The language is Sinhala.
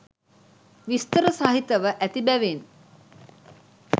විස්තර සහිතව ඇති බැවින්